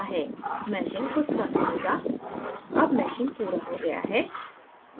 meshing कुछ समय लेगा अब meshing पूरा हो गया है